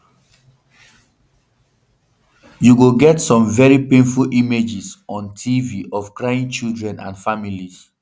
you go get some veri painful images on um tv of crying children and families um